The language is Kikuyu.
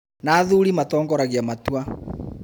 na athuri matongoragia matua.